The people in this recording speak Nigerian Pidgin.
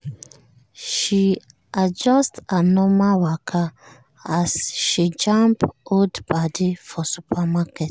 she adjust her normal waka as she jam old padi for supermarket.